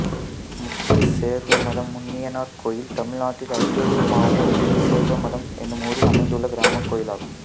முத்துசேர்வமடம் முனியனார் கோயில் தமிழ்நாட்டில் அரியலூர் மாவட்டம் முத்துசேர்வமடம் என்னும் ஊரில் அமைந்துள்ள கிராமக் கோயிலாகும்